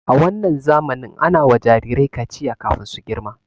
A wannan zamanin ana wa jirirai kaciya kafin su girma.